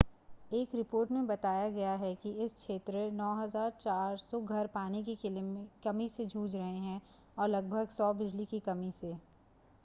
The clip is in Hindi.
एक रिपोर्ट मे बताया गया है कि इस क्षेत्र 9400 घर पानी की कमी से जूझ रहे है और लगभग 100 बिजली की कमी से